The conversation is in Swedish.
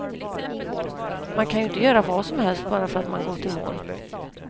Man kan ju inte göra vad som helst bara för att man gått i mål.